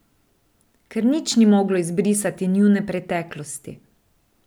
Ker nič ni moglo izbrisati njune preteklosti.